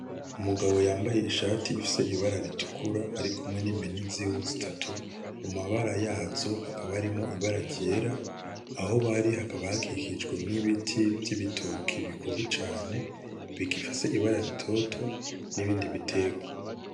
Umugabo yambaye ishati ifise ibara ritukura arikkumwe n'impene ziwe zitatu, mabara yazo hakaba harimwo ibara ryera, aho bari hakaba hakijijwe n'ibiti vy'ibitoke bikuze cane bigifise ibara ritoto, hamwe nibindi biterwa.